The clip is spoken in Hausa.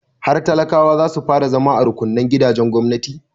Har talakawa za su fara zama a rukunnan gidajen gwamnati.